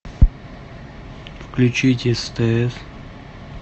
включить стс